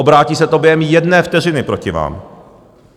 Obrátí se to během jedné vteřiny proti vám.